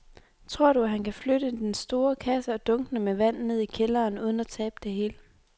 Tror du, at han kan flytte den store kasse og dunkene med vand ned i kælderen uden at tabe det hele?